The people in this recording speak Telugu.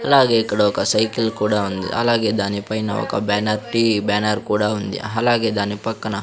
అలాగే ఇక్కడ ఒక సైకిల్ కూడా ఉంది అలాగే దాని పైన ఒక బ్యానర్ టీ బ్యానర్ కూడా ఉంది అలాగే దాని పక్కన--